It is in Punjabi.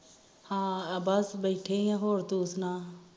ਹਮ ਬਸ ਬੈਠੀ ਹੋਰ ਤੂੰ ਸਣਾ?